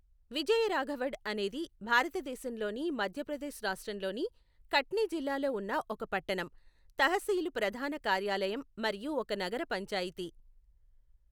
విజయరాఘవగఢ్ అనేది భారతదేశంలోని మధ్యప్రదేశ్ రాష్ట్రంలోని కట్ని జిల్లాలో ఉన్న ఒక పట్టణం, తహసీలు ప్రధాన కార్యాలయం మరియు ఒక నగర పంచాయతీ.